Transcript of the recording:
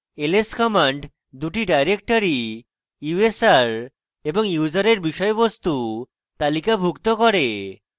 ls command দুটি directory usr এবং user usr বিষয়বস্তু তালিকাভুক্ত রাখে